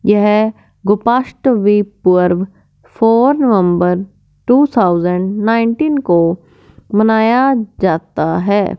यह गोपाष्टवे पूर्व phone number two thousand nineteen को मनाया जाता है।